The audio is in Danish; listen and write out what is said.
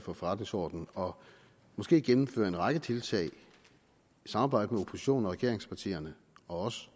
for forretningsordenen og måske gennemføre en række tiltag i et samarbejde mellem oppositionen regeringspartierne og os